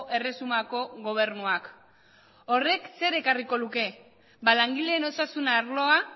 erresumako gobernuak horrek zer ekarriko luke ba langileen osasun arloa